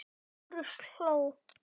Lárus hló.